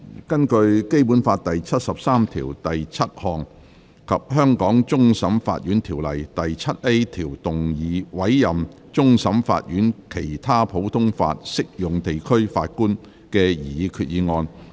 根據《基本法》第七十三條第七項及《香港終審法院條例》第 7A 條動議委任終審法院的其他普通法適用地區法官的擬議決議案。